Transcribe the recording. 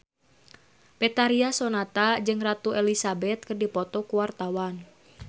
Betharia Sonata jeung Ratu Elizabeth keur dipoto ku wartawan